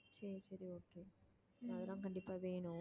சரி சரி okay அதெல்லாம் கண்டிப்பா வேணும்